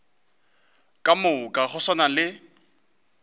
ka moka go swana le